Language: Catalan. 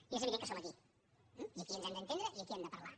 i és evident que som aquí i aquí ens hem d’entendre i aquí hem de parlar